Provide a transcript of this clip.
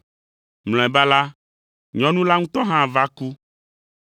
Mlɔeba la, nyɔnu la ŋutɔ hã va ku.